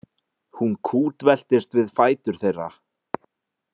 Hún kútveltist við fætur þeirra.